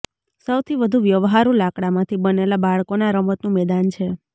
સૌથી વધુ વ્યવહારુ લાકડામાંથી બનેલા બાળકોના રમતનું મેદાન છે